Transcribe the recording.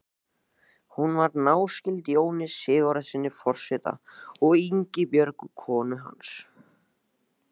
Hún var náskyld Jóni Sigurðssyni forseta og Ingibjörgu konu hans.